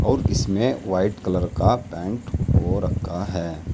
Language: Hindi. और इसमें वाइट कलर का पेंट हो रखा है।